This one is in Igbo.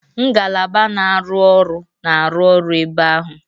Ngalaba na-arụ ọrụ na-arụ ọrụ ebe ahụ.